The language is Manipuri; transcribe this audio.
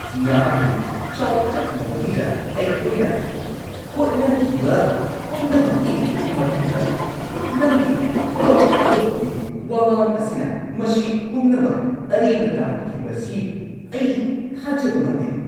ꯅꯍꯥꯛꯀꯤ ꯆꯥꯎꯈꯠꯅꯕꯒꯤꯗ ꯑꯩꯈꯣꯏꯅ ꯍꯣꯠꯅꯈꯤꯕ ꯄꯨꯝꯅꯃꯛꯀꯤ ꯃꯇꯨꯡꯗ, ꯅꯪꯒꯤ ꯊꯕꯛ ꯊꯥꯗꯣꯛꯄꯒꯤ ꯋꯥꯉꯥꯡ ꯑꯁꯤꯅ ꯃꯁꯤ ꯄꯨꯝꯅꯃꯛ ꯑꯔꯦꯝꯕ ꯇꯥꯍꯟꯈꯤꯕꯁꯤ ꯑꯩ ꯊꯥꯖꯕ ꯉꯝꯗꯦ ꯫